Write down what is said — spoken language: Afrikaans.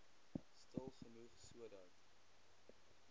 stil genoeg sodat